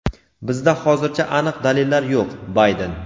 bizda hozircha aniq dalillar yo‘q – Bayden.